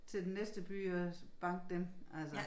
Til den næste by og banke dem altså